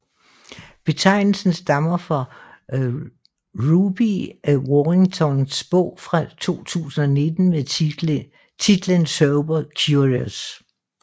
Betegnelsen stammer fra Ruby Warringtons bog fra 2019 med titlen Sober Curious